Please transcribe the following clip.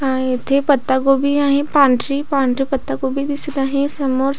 आहेत हे पता गोबी आहे पांढरी पांढरी पता गोबी दिसत आहे समोर --